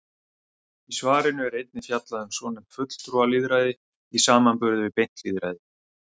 Í svarinu er einnig fjallað um svonefnt fulltrúalýðræði í samanburði við beint lýðræði.